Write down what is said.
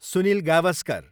Sunil Gavaskar